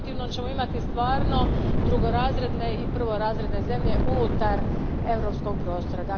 U protivnom ćemo imati stvarno drugorazredne i prvorazredne zemlje unutar europskog prostora.